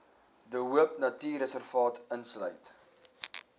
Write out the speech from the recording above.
de hoopnatuurreservaat insluit